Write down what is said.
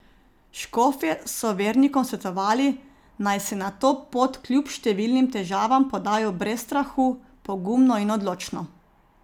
Škofje so vernikom svetovali, naj se na to pot kljub številnim težavam podajo brez strahu, pogumno in odločno.